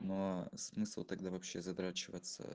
но а смысл тогда вообще задрачиваться